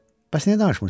Bəs niyə danışmırsan?